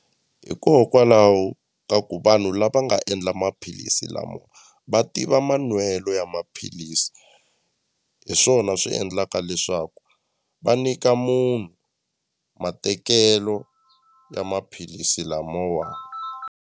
Hikokwalaho ka ku vanhu lava nga endla maphilisi lama va tiva manwelo ya maphilisi hi swona swi endlaka leswaku va nyika munhu matekelo ya maphilisi lamawani.